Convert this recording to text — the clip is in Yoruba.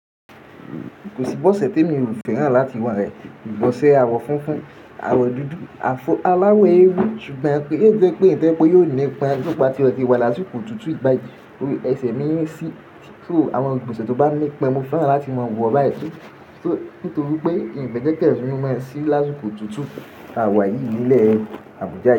Kò síbọ̀sẹ̀ temi ò fẹ́ràn láti wọ̀ rẹ̀. Ìgbọ̀nsẹ̀ àwọ̀ funfun, àwọ̀ dúdú, àfó aláwọ̀ ewé, ṣùgbọ́n kí í jẹ́ pé ìtẹ́pọ̀ yóò ní ipa nípa tí ó ti wà lásìkò tutù ìgbà yìí. Ẹsẹ̀ mi ń ṣí, ṣó àwọn ìgbọ̀nsẹ̀ tó bá ní ipa mo fẹ́ràn láti máa wọ̀ báyìí ṣú, nítorí pé ìbéjì ẹ́ ṣéjú mi máa ṣí lásìkò tutù àwa yìí nílẹ̀ Àbújá.